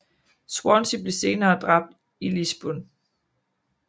Swanzy blev senere dræbt i Lisburn